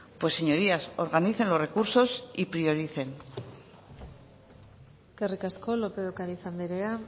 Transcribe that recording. pues señorías organicen los recursos y prioricen eskerrik asko lópez de ocariz andrea